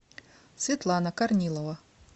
светлана корнилова